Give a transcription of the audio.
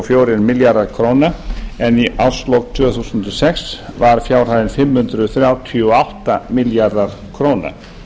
fjórir milljarðar króna en í árslok tvö þúsund og sex var fjárhæðin fimm hundruð þrjátíu og átta milljarðar króna